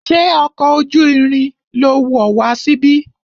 Ṣé ọkọ̀ ojú irin lo wọ̀ wá síbí?